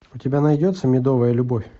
у тебя найдется медовая любовь